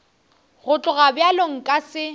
go tloga bjalo nka se